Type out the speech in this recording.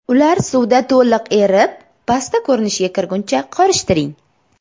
Ular suvda to‘liq erib, pasta ko‘rinishiga kirguncha qorishtiring.